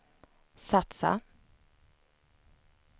satsa